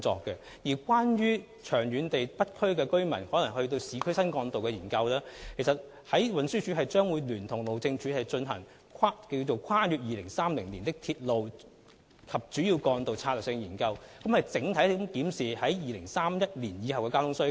長遠而言，對於北區連接市區新幹道的研究，運輸署將會聯同路政署進行《跨越2030年的鐵路及主要幹道策略性研究》，檢視2031年後的整體交通需求。